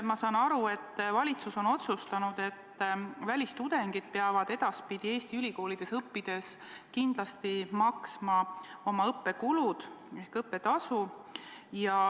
Ma saan aru, et valitsus on otsustanud, et edaspidi peavad välistudengid Eesti ülikoolides õppides kindlasti ise oma õppetasu maksma.